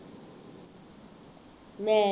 ਲੈ